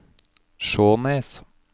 Skjånes